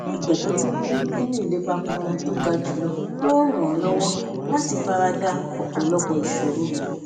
ìgbàgbó tó ní nínú ìlépa kan tó ga jùlọ ló ń ràn án lówó láti fara da òpòlọpò ìṣòro